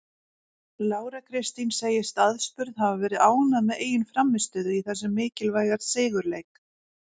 Lára Kristín segist aðspurð hafa verið ánægð með eigin frammistöðu í þessum mikilvæga sigurleik.